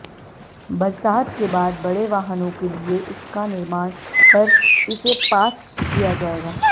बरसात के बाद बड़े वाहनों के लिए इसका निर्माण कर इसे पास किया जाएगा